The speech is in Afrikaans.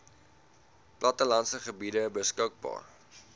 plattelandse gebiede beskikbaar